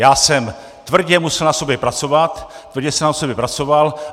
Já jsem tvrdě musel na sobě pracovat, tvrdě jsem na sobě pracoval.